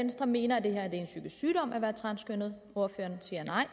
venstre mener at det er en psykisk sygdom at være transkønnet ordføreren siger nej